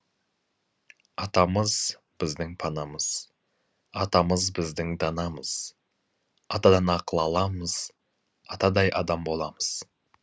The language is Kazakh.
атамыз біздің панамыз атамыз біздің данамыз атадан ақыл аламыз атадай адам боламыз